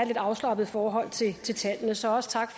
lidt afslappet forhold til tallene så tak